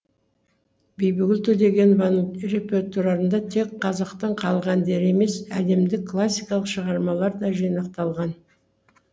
бибігүл төлегенованың репертуарында тек қазақтың халық әндері емес әлемдік классикалық шығармалар да жинақталған